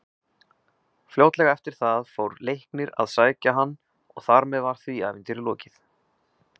Fljótlega eftir það fór Leiknir að sækja hann og þar með var því ævintýri lokið.